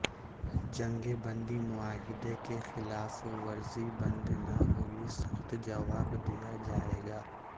جنگ بندی معاہدے کی خلاف ورزی بند نہ ہوئی سخت جواب دیا جائے گا